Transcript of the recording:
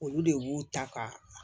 Olu de b'u ta ka